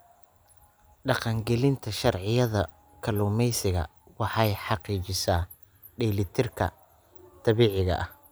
Dhaqangelinta sharciyada kalluumeysiga waxay xaqiijisaa dheelitirka dabiiciga ah.